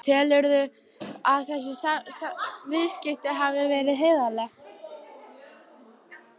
Guðný Helga: Telurðu að þessi viðskipti hafi verið heiðarleg?